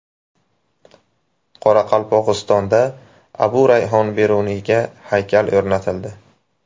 Qoraqalpog‘istonda Abu Rayhon Beruniyga haykal o‘rnatildi.